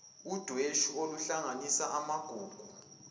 udweshu oluhlanganisa amagugu